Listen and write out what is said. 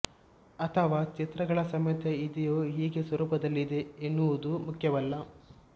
ಅಥವಾ ಚಿತ್ರಗಳ ಸಮೇತ ಇದೆಯೋ ಹೀಗೆ ಸ್ವರೂಪದಲ್ಲಿದೆ ಎನ್ನುವುದು ಮುಖ್ಯವಲ್ಲ